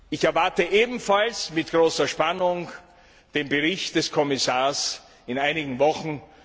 Ich erwarte ebenfalls mit großer Spannung den Bericht des Kommissars in einigen Wochen.